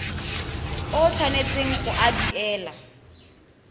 o tshwanetseng go a duela